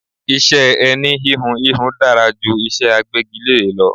Iṣẹ́ ẹni íhùn íhùn dára ju iṣé agbégilére lọ.